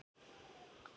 Svarið frá